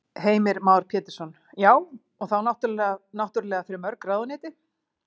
Heimir Már Pétursson: Já, og þá náttúrulega fyrir mörg ráðuneyti?